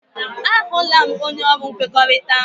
A hụla m, onye ọrụ nkwekọrịta ahụ.